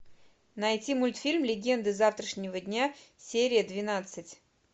найти мультфильм легенды завтрашнего дня серия двенадцать